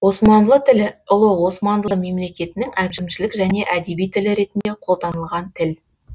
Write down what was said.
османлы тілі ұлы османлы мемлекетінің әкімшілік және әдеби тілі ретінде қолданылған тіл